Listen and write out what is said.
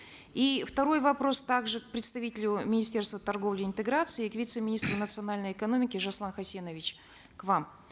и второй вопрос также к представителю министерства торговли и интеграции к вице министру национальной экономики жасулан хасенович к вам